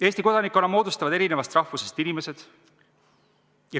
Eesti kodanikkonna moodustavad erinevast rahvusest inimesed.